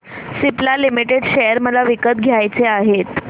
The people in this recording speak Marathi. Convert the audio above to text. सिप्ला लिमिटेड शेअर मला विकत घ्यायचे आहेत